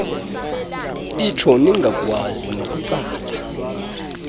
itsho ningakwazi nokutsala